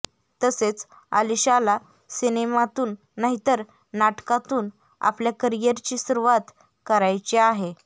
तसेच आलिशाला सिनेमातून नाहीतर नाटकातून आपल्या करिअरची सुरुवात करायची आहे